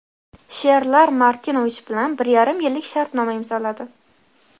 "Sherlar" Martinovich bilan bir yarim yillik shartnoma imzoladi.